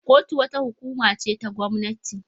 Kotu wata hukuma ce ta gwamnati.